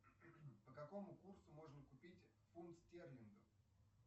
по какому курсу можно купить фунт стерлинга